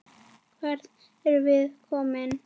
Hvert erum við komin?